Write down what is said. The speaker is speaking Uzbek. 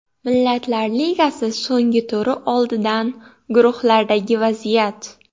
Millatlar Ligasi so‘nggi turi oldidan guruhlardagi vaziyat.